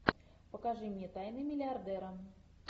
покажи мне тайны миллиардера